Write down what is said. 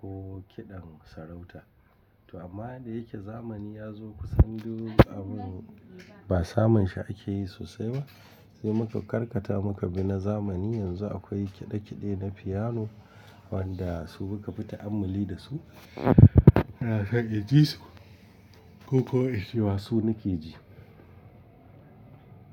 ko kiɗan sarauta. To amma da yake zamani ya zo kusan duk abun ba samun shi ake yi sosai ba. Sai muka karkata muka bi na zamani yanzu akwai kiɗe-kiɗe na fiyano wanda su suka fita amali da su. Ina so in ji su ko ko incema su nake ji.